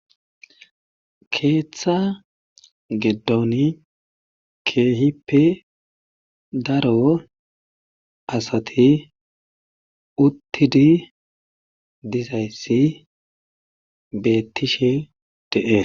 Keetha giddoni keehippe daro asati uttidi dizayssi beettishe de7ee.